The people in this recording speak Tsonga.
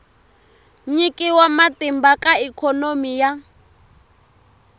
nyikiwa matimba ka ikhonomi ya